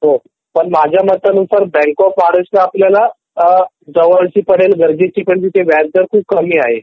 पण मझ्या मतनुसार बँक ऑफ महाराष्ट्र आपल्याला जवळ ची पडेल कारण तिथे व्याजदर खूप कमी आहे